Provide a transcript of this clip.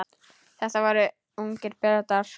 Þetta voru ungir Bretar.